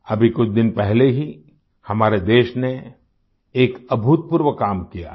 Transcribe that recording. अभी कुछ दिन पहले ही हमारे देश ने एक अभूतपूर्व काम किया है